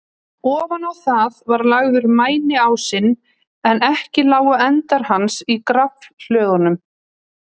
Ofan á þá var lagður mæniásinn, en ekki lágu endar hans á gaflhlöðunum.